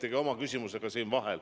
Te olete oma küsimusega vahele saanud.